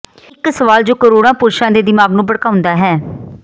ਇਕ ਸਵਾਲ ਜੋ ਕਰੋੜਾਂ ਪੁਰਸ਼ਾਂ ਦੇ ਦਿਮਾਗ ਨੂੰ ਭੜਕਾਉਂਦਾ ਹੈ